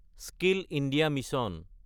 skill India mission